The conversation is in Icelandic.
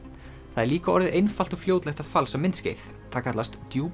það er líka orðið einfalt og fljótlegt að falsa myndskeið það kallast